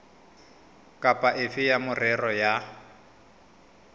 kapa efe ya merero ya